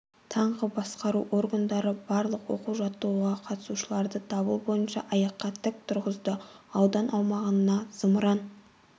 таңғы басқару органдары барлық оқу-жаттығуға қатысушыларды дабыл бойынша аяққа тік тұрғызды аудан аумағына зымыран